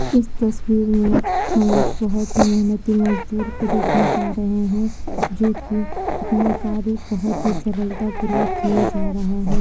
इस तस्वीर में हम एक बहुत ही मेहनती मजदूर को देखने पा रहे है जो कि अपना कार्य बहुत ही सरलतापूर्वक किए जा रहा है।